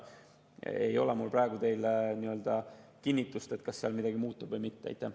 Mul ei ole praegu teile kinnitust, kas seal midagi muutub või mitte.